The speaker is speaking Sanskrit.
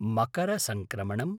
मकरसङ्क्रमणम्